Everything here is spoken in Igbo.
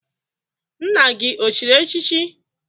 Nna gị o chịrị echịchị?